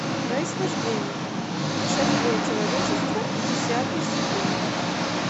происхождение путешествие человечества десятый сезон